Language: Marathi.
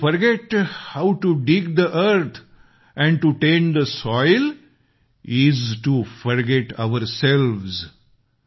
TO forget how to dig the earth and to tend the soil is to forget ourselves